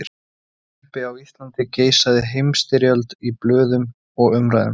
Jafnvel uppi á Íslandi geisaði Heimsstyrjöldin í blöðum og umræðum.